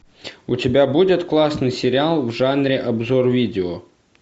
у тебя будет классный сериал в жанре обзор видео